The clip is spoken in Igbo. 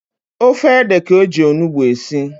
Ofe ede ka-eji onugbu esi.